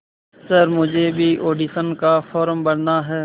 sir मुझे भी audition का फॉर्म भरना है